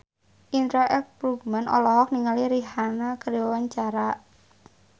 Indra L. Bruggman olohok ningali Rihanna keur diwawancara